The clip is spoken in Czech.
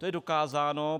To je dokázáno.